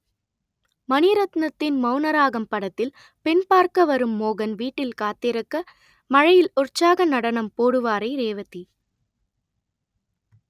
மணிரத்னத்தின் மௌனராகம் படத்தில் பெண் பார்க்க வரும் மோகன் வீட்டில் காத்திருக்க மழையில் உற்சாக நடனம் போடுவாரே ரேவதி